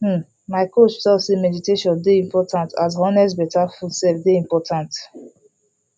um my coach talk say meditation dey important as honest better food sef dey important